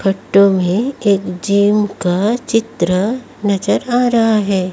Photo में एक gym का चित्र नजर आ रहा है।